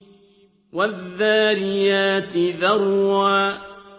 وَالذَّارِيَاتِ ذَرْوًا